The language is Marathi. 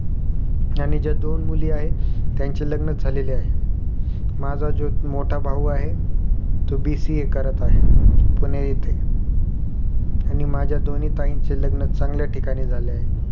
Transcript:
आणि ज्या दोन मुली आहेत त्यांची लग्न झालेली आहेत माझा जो मोठा भाऊ आहे तो BCA करत आहे पूजेनं येथे आणि माझ्या दोन्ही ताईंची लग्न चांगल्या ठिकाणी झाले आहे